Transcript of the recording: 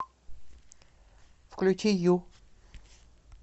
включи ю